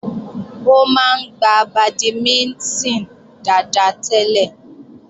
Ó máa ń gbà bàdímínítìn dáadáa tẹ́lẹ̀